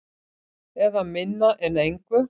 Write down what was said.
Eða minna en engu.